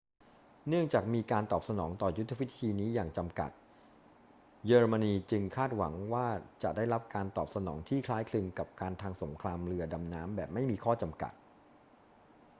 เนื่องจากมีการตอบสนองต่อยุทธวิธีนี้อย่างจำกัด เยอรมนีจึงคาดหวังว่าจะได้รับการตอบสนองที่คล้ายคลึงกับการทำสงครามเรือดำน้ำแบบไม่มีข้อจำกัด